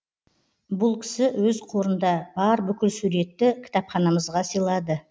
бұл кісі өз қорында бар бүкіл суретті кітапханамызға сыйлады